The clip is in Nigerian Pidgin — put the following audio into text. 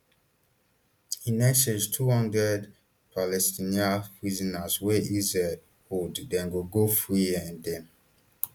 in exchange two hundred palestinian prisoners wey israel hold dem go go free um dem